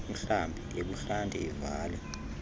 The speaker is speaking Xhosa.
umhlambi ebuhlanti ivale